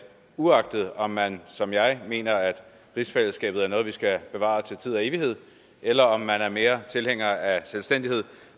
uagtet om man som jeg mener at rigsfællesskabet er noget vi skal bevare til tid og evighed eller om man er mere tilhænger af selvstændighed